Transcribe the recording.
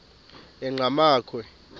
enqgamakhwe